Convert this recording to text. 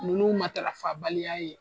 Ninnu matarafabaliya ye